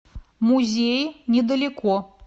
музеи недалеко